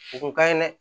O kun ka ɲi dɛ